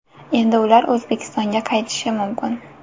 Endi ular O‘zbekistonga qaytishi mumkin.